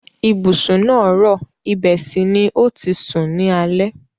Ibùsùn náà rọ̀, ibẹ̀ sì ni o ti sùn ní alẹ́.